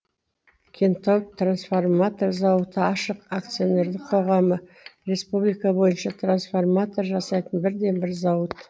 кентау трансформатор зауыты ашық акционерлік қоғамы республика бойынша трансформатор жасайтын бірден бір зауыт